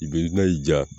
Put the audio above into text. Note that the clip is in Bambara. I bɛ na y'i ja